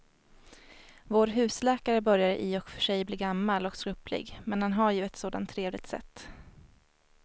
Vår husläkare börjar i och för sig bli gammal och skröplig, men han har ju ett sådant trevligt sätt!